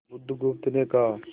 बुधगुप्त ने कहा